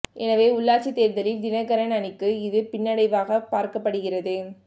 எனவே உள்ளாட்சி தேர்தலில் தினகரன் அணிக்கு இது பின்னடைவாக பார்க்கப்படுகிறது